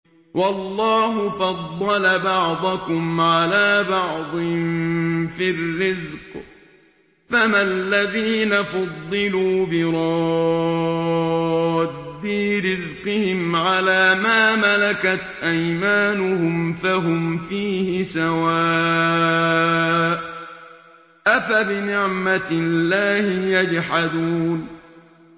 وَاللَّهُ فَضَّلَ بَعْضَكُمْ عَلَىٰ بَعْضٍ فِي الرِّزْقِ ۚ فَمَا الَّذِينَ فُضِّلُوا بِرَادِّي رِزْقِهِمْ عَلَىٰ مَا مَلَكَتْ أَيْمَانُهُمْ فَهُمْ فِيهِ سَوَاءٌ ۚ أَفَبِنِعْمَةِ اللَّهِ يَجْحَدُونَ